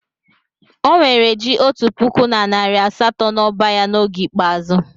O nwere ji otu puku na nari asato n'ọba ya n'oge ikpeazụ.